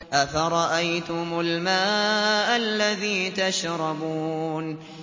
أَفَرَأَيْتُمُ الْمَاءَ الَّذِي تَشْرَبُونَ